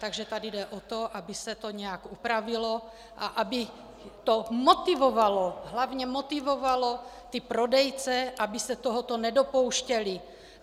Takže tady jde o to, aby se to nějak upravilo a aby to motivovalo, hlavně motivovalo ty prodejce, aby se tohoto nedopouštěli.